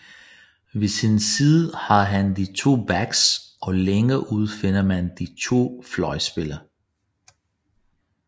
Ved sin side har han de to backs og længere ude finder man de to fløjspillere